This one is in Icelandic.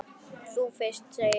Þú fyrst, segi ég.